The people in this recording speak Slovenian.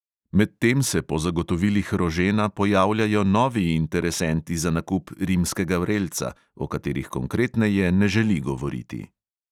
Medtem se po zagotovilih rožena pojavljajo novi interesenti za nakup rimskega vrelca, o katerih konkretneje ne želi govoriti.